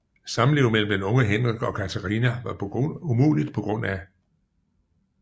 Samliv mellem den unge Henrik og Katarina var umuligt pga